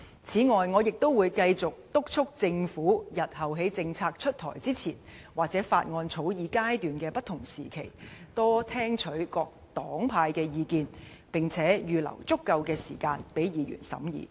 此外，我亦會繼續督促政府日後在政策出台前，或法案草擬階段的不同時期，多聽取各黨派的意見，並預留足夠的時間讓議員審議。